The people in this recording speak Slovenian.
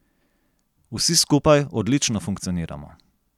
Vsi skupaj odlično funkcioniramo.